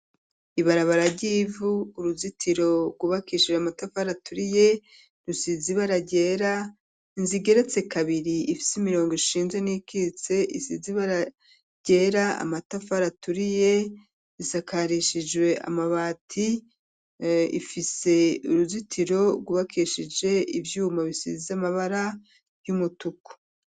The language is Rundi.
Ibarabara ryivu, uruzitiro rwubakishije amatafari aturiye, rusizi bara ryera, zigeretse kabiri ,ifise imirongo ishinzwe n'ikitse, isizi bara ryera, amatafari aturiye, risakarishijwe amabati, ifise uruzitiro rwubakishije ivyuma ,bisiz'amabara y'umutuku.